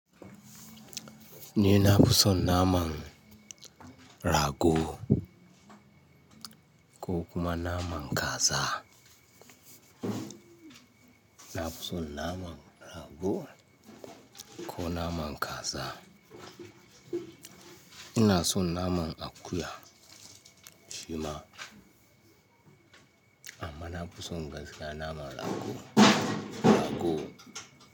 Ni na fi son naman rago ko kuma naman kaza. Na fi son naman rago ko naman kaza. Ina son naman akuya shima amma na fi son gaskiya naman rago, rago.